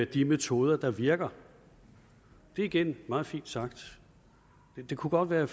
de metoder der virker det er igen meget fint sagt men det kunne godt være at